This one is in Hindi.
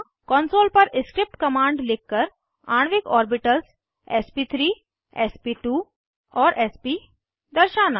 कॉन्सोल पर स्क्रिप्ट कमांड्स लिखकर आणविक orbitals SP three SP two and SP दर्शाना